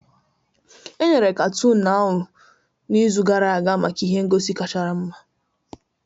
Enyere katoon ahụ n'izu gara aga maka ihe ngosi kacha mma